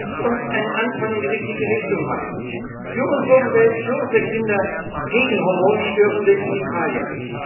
Lasst uns einen Anfang in die richtige Richtung machen für unsere Umwelt, für unsere Kinder, gegen hormonstörende Chemikalien!